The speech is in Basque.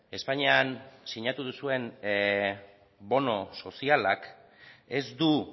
espainian sinatu duzuen bono sozialak ez du